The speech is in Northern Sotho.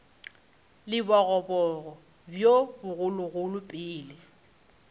le bogoboga bjo bogologolo pele